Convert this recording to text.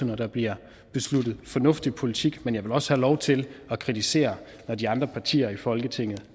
når der bliver besluttet en fornuftig politik men jeg vil også have lov til at kritisere det når de andre partier i folketinget